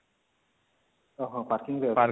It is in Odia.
ଓହୋ parking ରେ ଅଛି